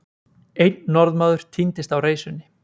Einn Norðmaður týndist á reisunni.